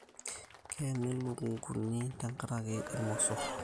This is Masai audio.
Keeni lukunguni tenkarakii irmosor